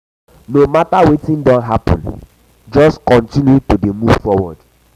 no mata um wetin don hapun jus kontinu to dey move forward